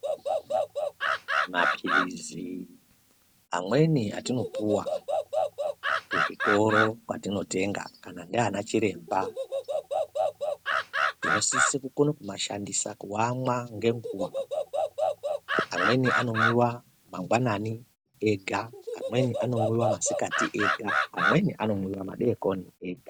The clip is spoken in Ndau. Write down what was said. Mapiritsi amweni atinopuwa kuzvitoro kwatinotenga kana nana chiremba tinosise kukona kumashandisa kuamwa ngenguwa, amweni anomwiwa mwangwanani ega, amweni anomwiwa masikati ega, amweni anomwiwa madeikoni ega.